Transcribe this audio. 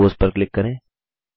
compose पर click करें